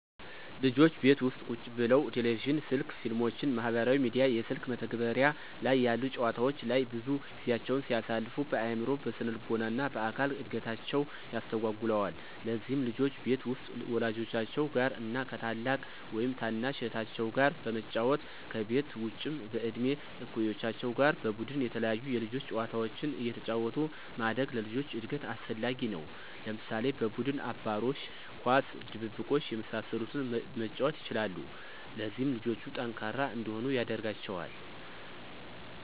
ልጆች ቤት ውስጥ ቁጭ ብለው ቴሌቪዥን፣ ስልክ፣ ፊልሞችን፣ ማህበራዊ ሚዲያ፣ የስልክ መተግበሪያ ላይ ያሉ ጨዋታወች ላይ ብዙ ጊዜያቸውን ሲያሳልፉ በአዕምሮ፣ በስነልቦና እና በአካል እድገታቸውን ያስተጓጉለዋል። ለዚህም ልጆች ቤት ውስጥ ወላጆቻቸው ጋር እና ከ ታላቅ ወይም ታናሽ እህታቸው ጋር በመጫወት፤ ከቤት ውጭም በእድሜ እኩዮቻቸው ጋር በቡድን የተለያዩ የልጆች ጨዋታዎችን አየተጫወቱ ማደግ ለልጆች እድገት አስፈላጊ ነው። ለምሳሌ፦ በቡድን አባሮሽ፣ ኳስ፣ ድብብቆሽ የመሳሰሉትን መጫወት ይችላሉ። ለዚህም ልጆቹ ጠንካራ እንዲሆኑ ያደርጋቸዋል።